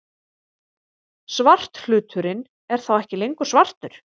Svarthluturinn er þá ekki lengur svartur!